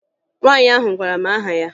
Nwaanyị ahụ gwara m aha ya